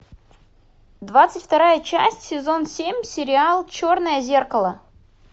двадцать вторая часть сезон семь сериал черное зеркало